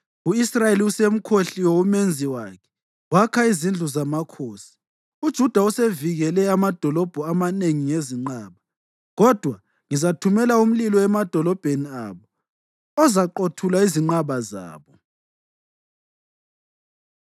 U-Israyeli usemkhohliwe uMenzi wakhe wakha izindlu zamakhosi; uJuda usevikele amadolobho amanengi ngezinqaba. Kodwa ngizathumela umlilo emadolobheni abo ozaqothula izinqaba zabo.”